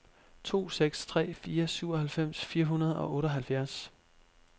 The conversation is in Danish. to seks tre fire syvoghalvfems fire hundrede og otteoghalvfjerds